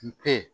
Kun te